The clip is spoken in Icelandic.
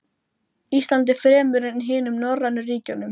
Íslandi fremur en hinum norrænu ríkjunum.